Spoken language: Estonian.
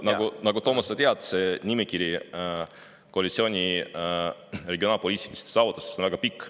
Nagu sa, Toomas, tead, koalitsiooni regionaalpoliitiliste saavutuste nimekiri on väga pikk.